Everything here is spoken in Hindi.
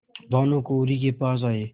भानुकुँवरि के पास आये